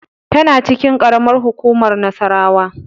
Tana cikin karamar hukumar Nassarawa.